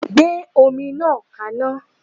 Gbé omi náà kaná.!